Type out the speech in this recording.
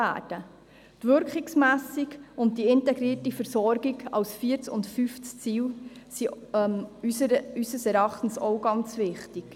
Die Wirkungsmessung und die integrierte Versorgung als viertes und fünftes Ziel sind unseres Erachtens auch ganz wichtig.